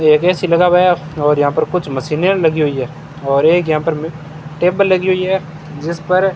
एक ए_सी लगा हुआ है और यहां पर कुछ मशीने लगी हुई है और एक यहां पर मे टेबल लगी हुई है जिस पर --